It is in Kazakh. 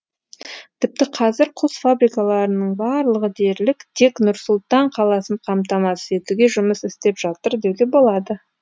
тіпті қазір құс фабрикаларының барлығы дерлік тек нұр сұлтан қаласын қамтамасыз етуге жұмыс істеп жатыр деуге болады